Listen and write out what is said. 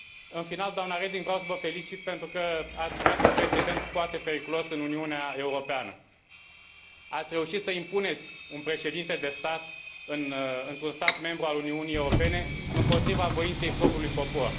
În final, doamnă Reding, vreau să vă felicit, pentru că ați creat un precedent foarte periculos în Uniunea Europeană ați reușit să impuneți un președinte de stat într un stat membru al Uniunii Europene împotriva voinței propriului popor.